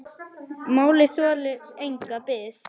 Málið þolir enga bið.